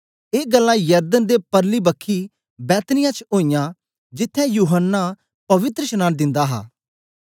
ए गल्लां यरदन दे परली बक्खी बैतनिय्याह च ओईयां जिथें यूहन्ना पवित्रशनांन दिंदा हा